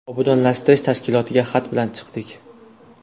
Obodonlashtirish tashkilotiga xat bilan chiqdik.